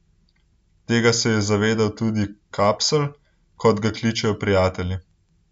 Tega se je zavedal tudi Kapsl, kot ga kličejo prijatelji.